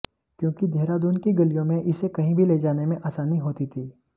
क्यूंकि देहरादून की गलियों में इसे कहीं भी ले जाने में आसानी होती थी